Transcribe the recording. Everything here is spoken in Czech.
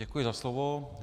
Děkuji za slovo.